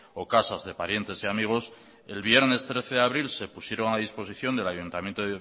o casas de parientes y amigos el viernes trece de abril se pusieron a disposición del ayuntamiento